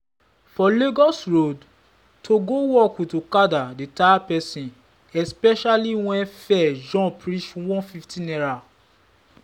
for lagos road to go work with okada dey tire person especially when fare jump reach ₦150.